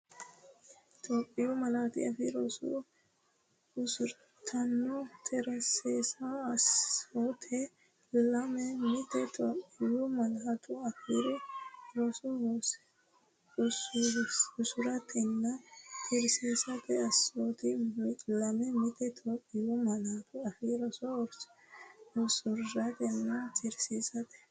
Itophiyu Malaatu Afii Roso usurtanno tareessa Assoote2 1 Itophiyu Malaatu Afii Roso usurtanno tareessa Assoote2 1 Itophiyu Malaatu Afii Roso usurtanno tareessa.